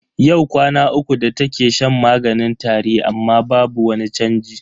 Yau kwana uku da take shan maganin tari amma babu wani chanji.